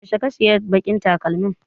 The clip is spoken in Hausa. Yaushe ka saya baƙin takalmin?